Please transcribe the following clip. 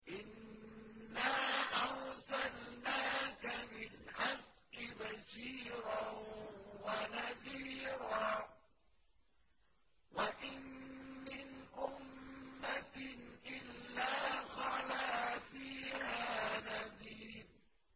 إِنَّا أَرْسَلْنَاكَ بِالْحَقِّ بَشِيرًا وَنَذِيرًا ۚ وَإِن مِّنْ أُمَّةٍ إِلَّا خَلَا فِيهَا نَذِيرٌ